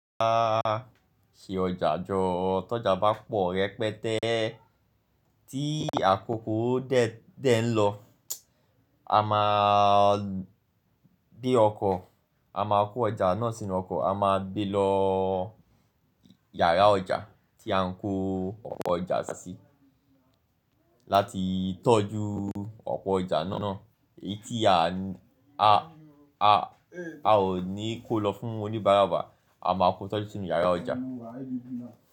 A ṣe ọjà jọ, tọ́jà bá pọ̀ rẹpẹtẹ, tí àkókò dé ń lọ, a máa gbé ọkọ̀, a máa kó ọjà náà sínú ọkọ̀, a máa gbé lọ yàrá ọjà tí a ń kó ọ̀pọ̀ ọjà ṣáá sí láti tọ́jú ọ̀pọ̀ ọjà náà. Èyí tí a ò ní kó lọ fún oníbàárà wa a máa kó tọ́jú nínú yàrá ọjà.